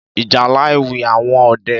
Ìjálá Éwì áwòn õdè